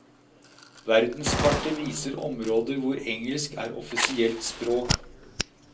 Verdenskartet viser områder hvor engelsk er offisielt språk.